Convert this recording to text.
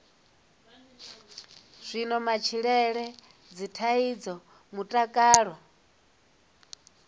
zwiwo matshilele dzithaidzo mutakalo